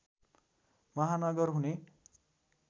महानगर हुने